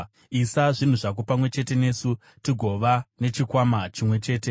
isa zvinhu zvako pamwe chete nesu, tigova nechikwama chimwe chete,”